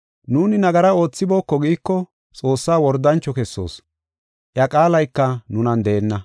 Nuuni nagara oothibooko giiko Xoossaa wordancho kessoos; iya qaalayka nunan deenna.